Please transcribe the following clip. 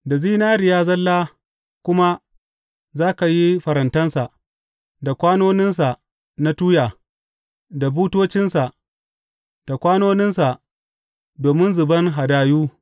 Da zinariya zalla kuma za ka yi farantansa, da kwanoninsa na tuya, da butocinsa, da kwanoninsa domin zuban hadayu.